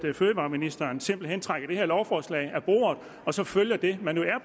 fødevareministeren simpelt hen tager det her lovforslag af bordet og så følger det man